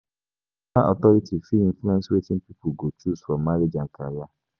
Spiritual authority fit influence wetin pipo go choose for marriage and career.